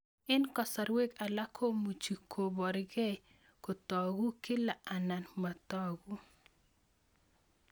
Eng' kasarwek alak komuchi ole parukei kotag'u kila anan matag'u